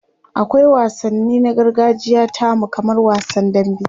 akwai wansanni na gargajiya tamu kamar wasan dambe